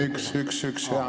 Üks-üks-üks!